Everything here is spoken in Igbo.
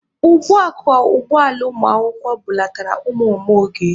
Ugbua ka ụgbọ ala ụmụakwụkwọ bulatara ụmụ Mama Oge.